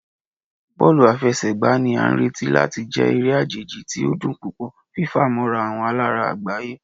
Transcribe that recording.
Bọọlu afẹsẹgba ni a nireti lati jẹ ere ajeji ti o dun pupọ, fifamọra awọn alara agbaye.